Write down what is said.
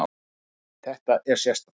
Já, þetta er sérstakt.